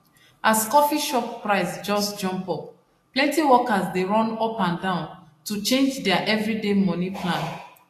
as coffee shop price just jump up plenty workers dey run up and down to change dia everyday money plan